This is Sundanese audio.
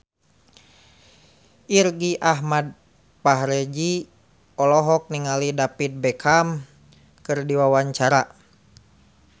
Irgi Ahmad Fahrezi olohok ningali David Beckham keur diwawancara